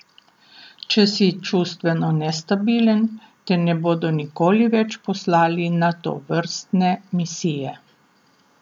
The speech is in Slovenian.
Če si čustveno nestabilen, te ne bodo nikoli več poslali na tovrstne misije.